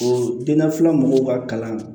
O dennafilan mɔgɔw ka kalan